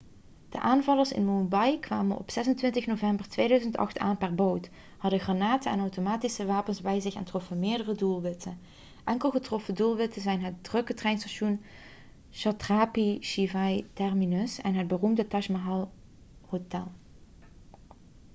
de aanvallers in mumbai kwamen op 26 november 2008 aan per boot hadden granaten en automatische wapens bij zich en troffen meerdere doelwitten enkele getroffen doelwitten zijn het drukke treinstation chhatrapati shivaji terminus en het beroemde taj mahal hotel